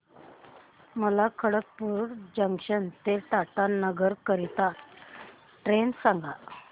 मला खडगपुर जंक्शन ते टाटानगर करीता ट्रेन सांगा